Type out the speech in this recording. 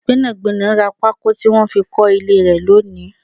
Gbẹ́nàgbẹ́nà rá pako tí wọn fi kọ ilé rẹ lónìí